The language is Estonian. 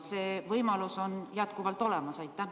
See võimalus on teil jätkuvalt olemas.